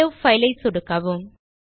save file ஐ சொடுக்கவும்